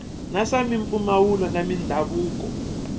na swa mimfuwo na mindhavuko